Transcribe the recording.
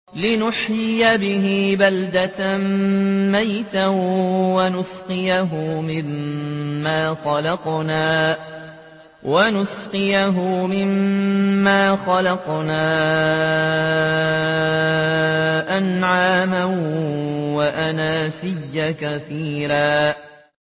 لِّنُحْيِيَ بِهِ بَلْدَةً مَّيْتًا وَنُسْقِيَهُ مِمَّا خَلَقْنَا أَنْعَامًا وَأَنَاسِيَّ كَثِيرًا